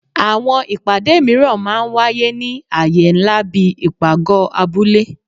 Àwọn ìpàdé míràn ń wáyé ní aye nlá bí ipágọ abule